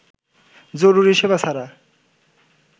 জরুরি সেবা ছাড়া